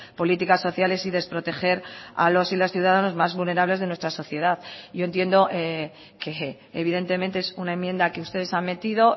políticas sociales y desproteger a los y las ciudadanas más vulnerables de nuestra sociedad yo entiendo que evidentemente es una enmienda que ustedes han metido